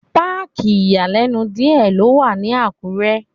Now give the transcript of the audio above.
Páàkì ìyàlẹ́nu díẹ̀ ló wà ní Àkúrẹ́.